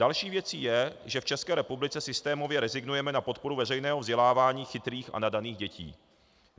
Další věcí je, že v České republice systémově rezignujeme na podporu veřejného vzdělávání chytrých a nadaných dětí.